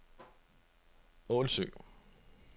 Ålsø